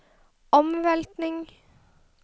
omveltning